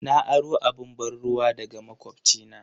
Na aro abun ban'ruwa daga makwabcina.